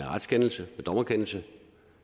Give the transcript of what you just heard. retskendelse en dommerkendelse